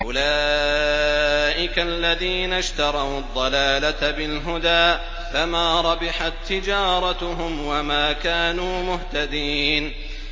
أُولَٰئِكَ الَّذِينَ اشْتَرَوُا الضَّلَالَةَ بِالْهُدَىٰ فَمَا رَبِحَت تِّجَارَتُهُمْ وَمَا كَانُوا مُهْتَدِينَ